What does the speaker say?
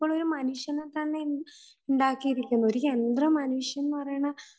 ഇപ്പോൾ ഒരു മനുഷ്യനെ തന്നെ ഉണ്ടാക്കി ഇരിക്കുന്നു ഒരു യന്ത്രമനുഷ്യൻ എന്ന് പറയണ